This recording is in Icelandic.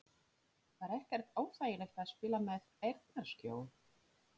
Var ekkert óþægilegt að spila með eyrnaskjól??